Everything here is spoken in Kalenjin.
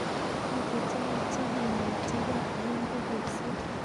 Mi chechang' che kenetikey eng' pukuisyek